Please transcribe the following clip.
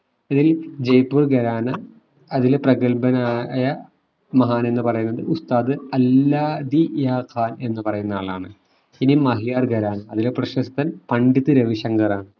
ജയ്‌പൂർ ഖരാന അതിൽ പ്രഗത്ഭനായ മഹാൻ എന്ന് പറയുന്നത് ഉസ്താദ് അല്ലാദിയ ഖാൻ എന്ന് പറയുന്ന ആളാണ് ഇനി മഹിയാർ ഖരാനാ അതിലെ പ്രശസ്തൻ പണ്ഡിത് രവി ശങ്കറാണ്